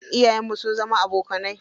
Iyayen mu sun zama abokanai.